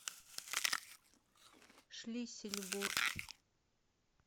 шлиссельбург